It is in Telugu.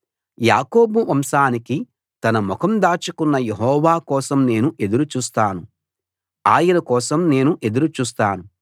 యాకోబు వంశానికి తన ముఖం దాచుకున్న యెహోవా కోసం నేను ఎదురు చూస్తాను ఆయన కోసం నేను ఎదురు చూస్తాను